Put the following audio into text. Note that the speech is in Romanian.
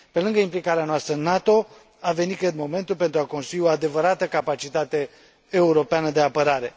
Pe lângă implicarea noastră în NATO, a venit, cred, momentul pentru a construi o adevărată capacitate europeană de apărare.